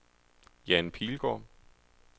Jan Pilgaard